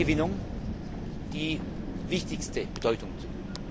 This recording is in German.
der Stromgewinnung, die wichtigste Bedeutung zu.